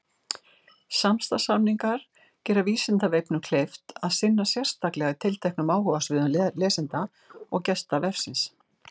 Samstarfssamningar gera Vísindavefnum kleift að sinna sérstaklega tilteknum áhugasviðum lesenda og gesta vefsins.